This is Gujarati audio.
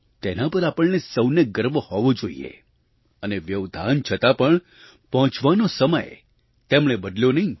તેના પર આપણને સહુને ગર્વ હોવો જોઈએ અને વ્યવધાન છતાં પણ પહોંચવાનો સમય તેમણે બદલ્યો નહીં